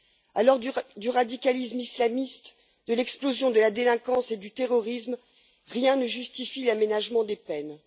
À l'heure du radicalisme islamiste, de l'explosion de la délinquance et du terrorisme, rien ne justifie l'aménagement des peines.